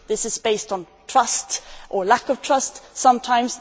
This is based on trust or lack of trust sometimes.